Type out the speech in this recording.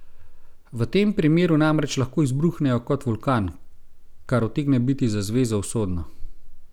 V tem primeru namreč lahko izbruhnejo kot vulkan, kar utegne biti za zvezo usodno.